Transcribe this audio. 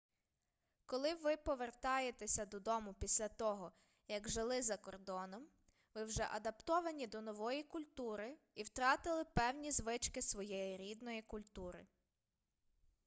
коли ви повертаєтеся додому після того як жили закордоном ви вже адаптовані до нової культури і втратили певні звички своєї рідної культури